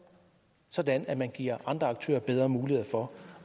sådan at man giver andre aktører bedre muligheder for